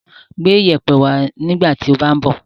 Gbé ìyẹ̀pẹ̀ wá nígbà tí o bá ń bọ̀.